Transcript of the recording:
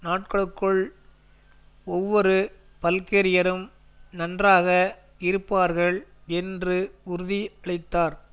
நாட்களுக்குள் ஒவ்வொரு பல்கேரியரும் நன்றாக இருப்பார்கள் என்று உறுதி அளித்தார்